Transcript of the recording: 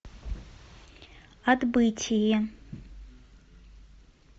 отбытие